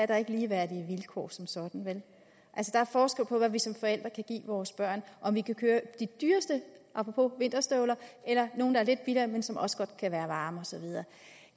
der ikke ligeværdige vilkår som sådan der er forskel på hvad vi som forældre kan give vores børn om vi kan købe de dyreste apropos vinterstøvler eller nogle der er lidt billigere men som også godt kan være varme og så videre